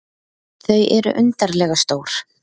Þau eru undarlega stór.